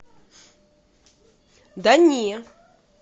да не